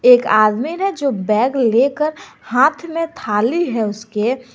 एक आदमी ने जो बैग लेकर हाथ में थाली है उसके।